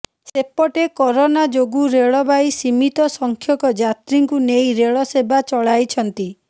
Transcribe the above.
ସେପଟେ କରୋନା ଯୋଗୁ ରେଳବାଇ ସୀମିତ ସଂଖ୍ୟକ ଯାତ୍ରୀଙ୍କୁ ନେଇ ରେଳ ସେବା ଚଳାଇଛନ୍ତି